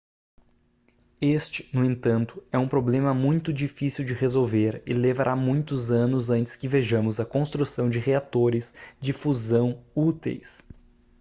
este no entanto é um problema muito difícil de resolver e levará muitos anos antes que vejamos a construção de reatores de fusão úteis